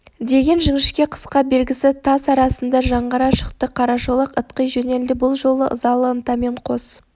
деген жіңішке қысқа белгісі тас арасында жаңғыра шықты қарашолақ ытқи жөнелді бұл жолы ызалы ынтамен қос